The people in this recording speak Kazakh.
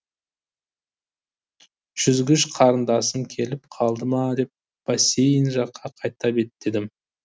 жүзгіш қарындасым келіп қалды ма деп бассейн жаққа қайта беттедім